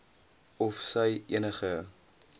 of sy enige